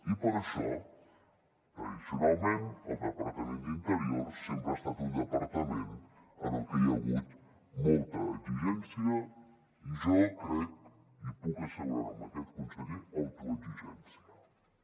i per això tradicionalment el departament d’interior sempre ha estat un departament en el que hi ha hagut molta exigència i jo crec i puc assegurar ho amb aquest conseller autoexigència també